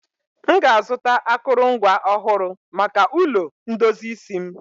m ga-azụta akụrụngwa ọhụrụ maka ulo ndozi isi m